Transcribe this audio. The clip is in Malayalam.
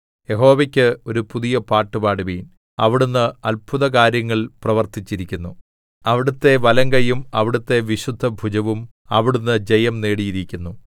യഹോവയ്ക്ക് ഒരു പുതിയ പാട്ടുപാടുവിൻ അവിടുന്ന് അത്ഭുതകാര്യങ്ങൾ പ്രവർത്തിച്ചിരിക്കുന്നു അവിടുത്തെ വലങ്കയ്യും അവിടുത്തെ വിശുദ്ധഭുജവും അവിടുന്ന് ജയം നേടിയിരിക്കുന്നു